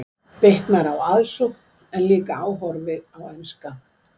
Bitnar á aðsókn en líka áhorfi á enska.